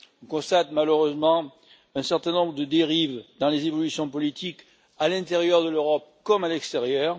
On constate malheureusement un certain nombre de dérives dans les évolutions politiques à l'intérieur de l'Europe comme à l'extérieur.